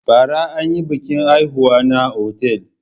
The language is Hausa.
Bara an yi biƙin haihuwa na otal.